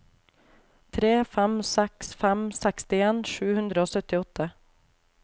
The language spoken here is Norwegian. tre fem seks fem sekstien sju hundre og syttiåtte